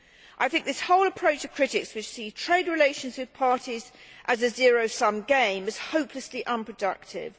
I think this whole approach of critics, which sees trade relations with parties as a zero sum game, is hopelessly unproductive.